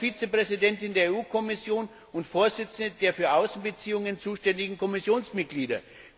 Auch als Vizepräsidentin der EU Kommission und Vorsitzende der für Außenbeziehungen zuständigen Kommissionsmitglieder.